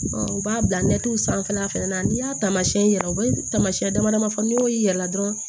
u b'a bila sanfɛla fɛnɛ na n'i y'a taamasiyɛn yira u bɛ taamasiyɛn damadɔ fɔ n'i y'o yir'i la dɔrɔn